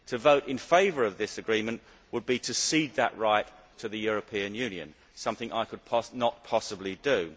To vote in favour of this agreement would be to cede that right to the European Union, which is something I could not possibly do.